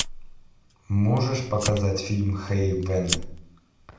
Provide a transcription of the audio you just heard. можешь показать фильм хейвен